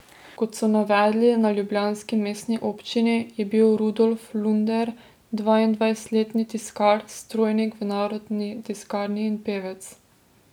Kot so navedli na ljubljanski mestni občini, je bil Rudolf Lunder dvaindvajsetletni tiskar, strojnik v Narodni tiskarni in pevec.